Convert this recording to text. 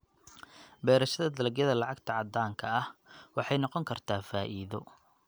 Beerashada dalagyada lacagta caddaanka ah waxay noqon kartaa faa'iido.